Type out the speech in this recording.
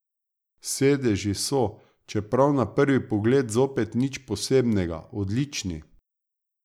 Sedeži so, čeprav na prvi pogled zopet nič posebnega odlični.